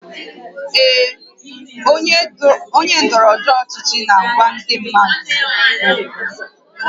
Ee, onye ndọrọ ndọrọ ọchịchị na-agwa ndị mmadụ okwu